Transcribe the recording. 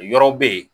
Yɔrɔ bɛ yen